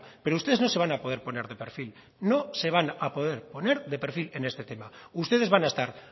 pero ustedes no se van a poder poner de perfil no se van a poder poner de perfil en este tema ustedes van a estar